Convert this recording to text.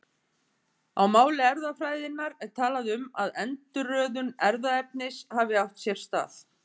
Á máli erfðafræðinnar er talað um að endurröðun erfðaefnis hafi átt sér stað.